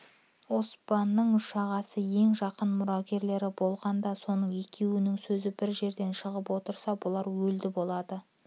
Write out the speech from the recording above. оспанның үш ағасы ең жақын мұрагерлері болғанда соның екеуінің сөзі бір жерден шығып отырса бұлар өлді болады